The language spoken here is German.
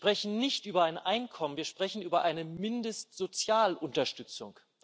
Wir sprechen nicht über ein Einkommen, wir sprechen über eine Mindestsozialunterstützung.